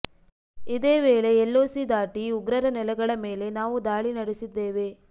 ಇದೇ ವೇಳೆ L O C ದಾಟಿ ಉಗ್ರರ ನೆಲೆಗಳ ಮೇಲೆ ನಾವು ದಾಳಿ ನಡೆಸಿದ್ದೇವೆ